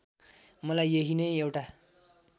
मलाई यहीं नै एउटा